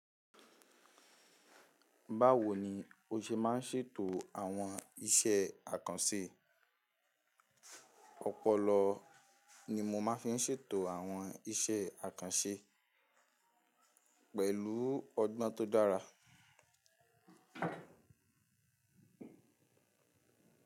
Báwo ni o ṣe má ń ṣètò àwọn iṣẹ́ àkànṣe? Ọpọlọ ni mo máa ń fi ṣètò àwọn iṣẹ́ àkànṣe pẹ̀lú ọgbọ́n tó dára.